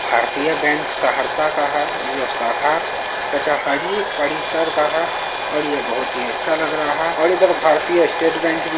भारतीय बैंक सहरसा का है जो साखा कचहरी परिसर का है और ये बहुत ही अच्छा लग रहा है और इधर भारतीय स्टेट बैंक भी --